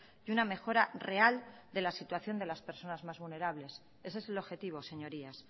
y una mejora real de la situación de las personas más vulnerables ese es el objetivo señorías